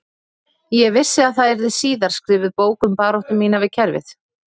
Ég vissi að það yrði síðar skrifuð bók um baráttu mína við kerfið